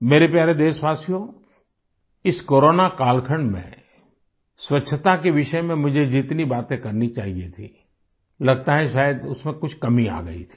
मेरे प्यारे देशवासियो इस कोरोना कालखंड में स्वच्छता के विषय में मुझे जितनी बातें करनी चाहिए थी लगता है शायद उसमें कुछ कमी आ गई थी